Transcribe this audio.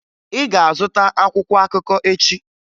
Ị ga-azụta akwụkwọ akụkọ echi!